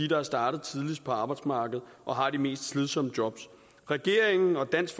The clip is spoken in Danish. der er startet tidligst på arbejdsmarkedet og har de mest slidsomme jobs regeringen og dansk